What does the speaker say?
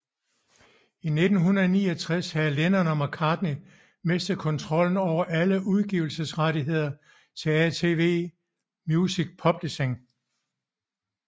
I 1969 havde Lennon og McCartney mistet kontrollen over alle udgivelsesrettigheder til ATV Music Publishing